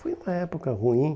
Foi uma época ruim.